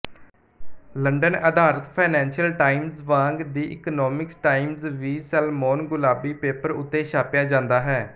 London ਆਧਾਰਤ financial times ਵਾਂਗ the economics times ਵੀ ਸੈਲਮੋਨਗੁਲਾਬੀ ਪੇਪਰ ਉੱਤੇ ਛਾਪਿਆ ਜਾਂਦਾ ਹੈ